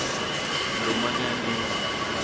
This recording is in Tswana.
lomanyaneng